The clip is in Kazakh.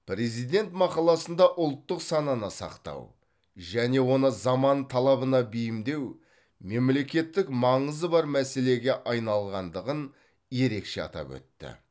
президент мақаласында ұлттық сананы сақтау және оны заман талабына бейімдеу мемлекеттік маңызы бар мәселеге айналғандығын ерекше атап өтті